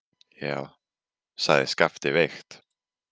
Já, sagði Skapti veikt.